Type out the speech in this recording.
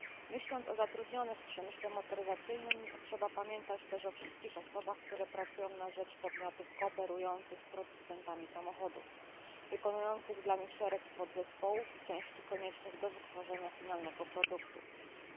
Myśląc o zatrudnionych w przemyśle motoryzacyjnym trzeba pamiętać też o wszystkich osobach, które pracują na rzecz podmiotów współpracujących z producentami samochodów, wykonujących dla nich szereg podzespołów i części koniecznych do wytworzenia produktu końcowego.